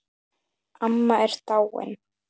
Amma er dáin.